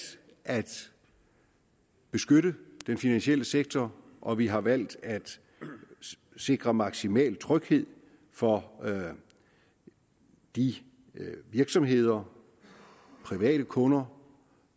at beskytte den finansielle sektor og vi har valgt at sikre maksimal tryghed for de virksomheder private kunder